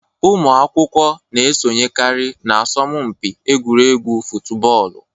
Ụmụ akwụkwọ na esonyekari na asọmụ mpi egwuregwu futubọọlụ